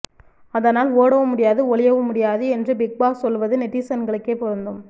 அதனால் ஓடவும் முடியாது ஒளியவும் முடியாது என்று பிக் பாஸ் சொல்வது நெட்டிசன்களுக்கே பொருந்தும்